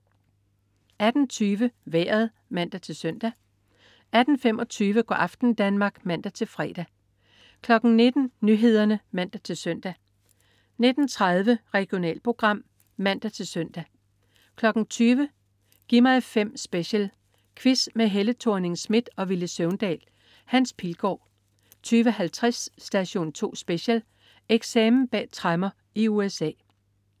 18.20 Vejret (man-søn) 18.25 Go' aften Danmark (man-fre) 19.00 Nyhederne (man-søn) 19.30 Regionalprogram (man-søn) 20.00 Gi' mig 5 Special. Quiz med Helle Thorning-Schmidt og Villy Søvndal. Hans Pilgaard 20.50 Station 2 Special: Eksamen bag tremmer i USA